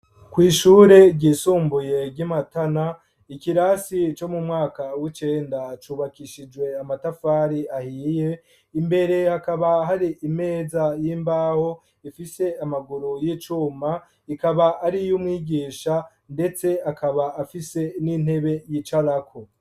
Kw'ishure ryisumbuye ry'i matana ikirasi co mu mwaka w'icenda cubakishijwe amatafari ahiye imbere akaba hari imeza y'imbaho ifise amaguru y'icuma, ikaba ari y'umwigisha ndetse akaba afise n'intebe yicarako.